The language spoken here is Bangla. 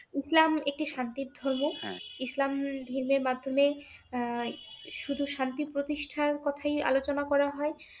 ইসলাম একটি শান্তির ধর্ম ইসলাম ধর্মের মাধমে উম শুধু শান্তির প্রতিষ্ঠার কথাই আলোচনা করা হয়